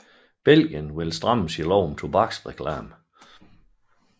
Belgien vil stramme sin lov om tobaksreklamer